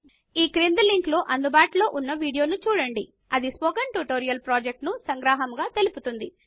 ఈ క్రింది లింక్ లో అందుబాటులో ఉన్న వీడియోను చూడండి అది స్పోకెన్ ట్యుటోరియల్ ప్రాజెక్ట్ ను సంగ్రహముగా తెలుపుతుంది